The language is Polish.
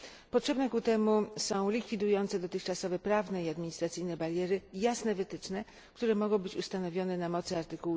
Potrzebne ku temu są likwidujące dotychczasowe prawne i administracyjne bariery jasne wytyczne, które mogą być ustanowione na mocy art.